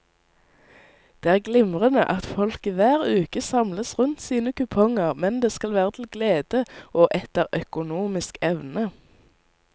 Det er glimrende at folket hver uke samles rundt sine kuponger, men det skal være til glede og etter økonomisk evne.